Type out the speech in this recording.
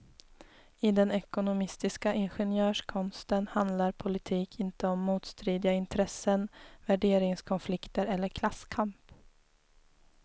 I den ekonomistiska ingenjörskonsten handlar politik inte om motstridiga intressen, värderingskonflikter eller klasskamp.